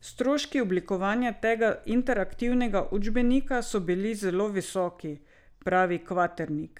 Stroški oblikovanja tega interaktivnega učbenika so bili zelo visoki, pravi Kvaternik.